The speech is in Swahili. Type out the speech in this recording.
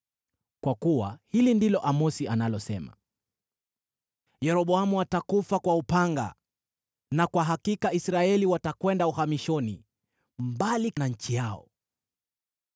Kwa kuwa hili ndilo Amosi analosema: “ ‘Yeroboamu atakufa kwa upanga, na kwa hakika Israeli watakwenda uhamishoni, mbali na nchi yao.’ ”